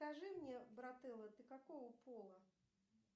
скажи мне брателло ты какого пола